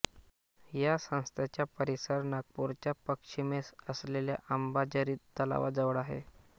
या संस्थेचा परिसर नागपूरच्या पश्चिमेस असलेल्या अंबाझरी तलावाजवळ आहे